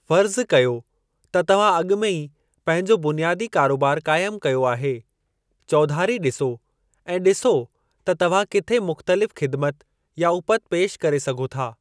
फ़र्ज़ कयो त तव्हां अॻु में ई पंहिंजो बुनियादी कारोबार क़ाइमु कयो आहे, चौधारी ॾिसो ऐं ॾिसो त तव्हां किथे मुख़्तलिफ़ ख़िदिमत या उपति पेशि करे सघो था।